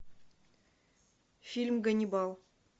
фильм ганнибал